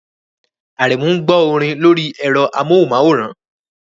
Aremu ń gbọ́ orin lórí ẹ̀rọ amóhùnmáwòrán